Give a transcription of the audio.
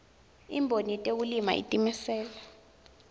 imboni yetekulima itimisele